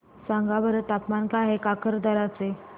सांगा बरं तापमान काय आहे काकरदरा चे